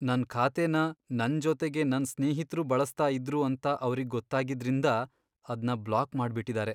ನನ್ ಖಾತೆನ ನನ್ ಜೊತೆಗೆ ನನ್ ಸ್ನೇಹಿತ್ರೂ ಬಳಸ್ತಾ ಇದ್ರು ಅಂತ ಅವ್ರಿಗ್ ಗೊತ್ತಾಗಿದ್ರಿಂದ ಅದ್ನ ಬ್ಲಾಕ್ ಮಾಡ್ಬಿಟಿದಾರೆ.